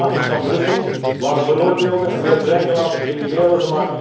De daders van Brussel waren veroordeelde en weer vrijgelaten criminelen.